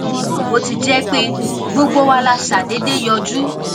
níwòn bó ti jé pé gbogbo wa la ṣàdédé yọjú